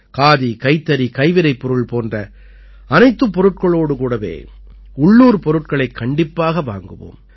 காதி கைத்தறி கைவினைப்பொருள் போன்ற அனைத்துப் பொருட்களோடு கூடவே உள்ளூர் பொருட்களைக் கண்டிப்பாக வாங்குவோம்